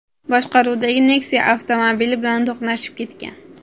boshqaruvidagi Nexia avtomobili bilan to‘qnashib ketgan.